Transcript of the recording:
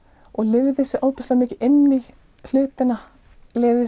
og lifði sig ofboðslega mikið inn í hlutina lifði